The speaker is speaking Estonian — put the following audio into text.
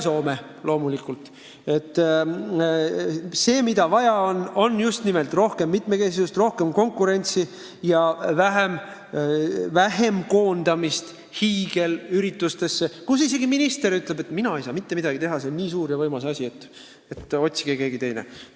Meil on vaja just nimelt rohkem mitmekesisust, rohkem konkurentsi ja vähem koondamist hiigelüritustesse, mille puhul isegi minister ütleb, et tema ei saa mitte midagi teha – see on nii suur ja võimas asi, et otsige keegi teine.